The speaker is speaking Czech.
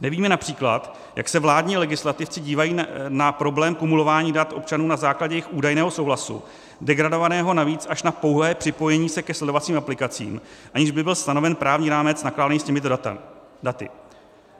Nevíme například, jak se vládní legislativci dívají na problém kumulování dat občanů na základě jejich údajného souhlasu, degradovaného navíc až na pouhé připojení se ke sledovacím aplikacím, aniž by byl stanoven právní rámec nakládání s těmito daty.